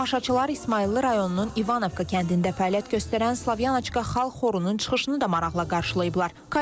Tamaşaçılar İsmayıllı rayonunun İvankovka kəndində fəaliyyət göstərən Slavyanoçka xalq xorunun çıxışını da maraqla qarşılayıblar.